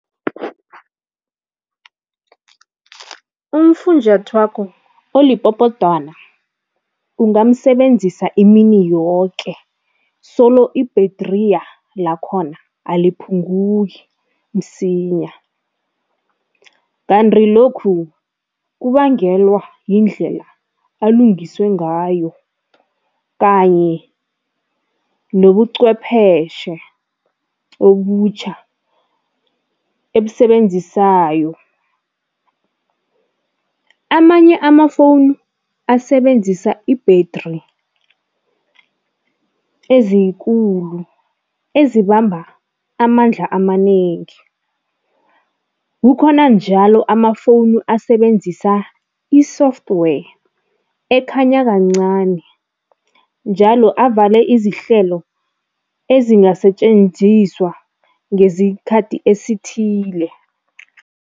Umfunjathwako olipopotwana ungamsebenzisa imini yoke, solo i-battery lakhona aliphunguki msinya kanti lokhu kubangelwa yindlela alungiswe ngayo kanye nobuqhwepheshe obutjha ebusebenzisayo. Amanye amafowunu asebenzisa i-battery ezikulu ezibamba amandla amanengi, kukhona njalo amafowunu asebenzisa i-software ekhanya kancani, njalo avale izihlelo ezingasetjenziswa ngesikhathi esithile.